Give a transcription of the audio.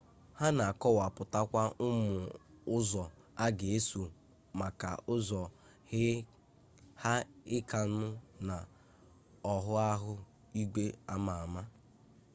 ha na akọwapụtakwa ụmụ ụzọ a ga-eso maka ụzọ haịkịnụ na ọghụgha igwe ama ama